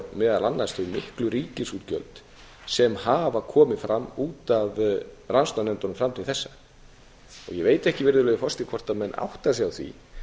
meðal annars þau miklu ríkisútgjöld sem hafa komið fram út af rannsóknarnefndunum fram til þessa ég veit ekki virðulegi forseti hvort menn átta sig á því